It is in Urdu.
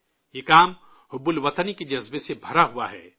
یہ کام حب الوطنی کے جذبے سے بھرا ہوا ہے